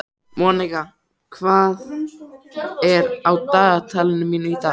Monika, hvað er á dagatalinu mínu í dag?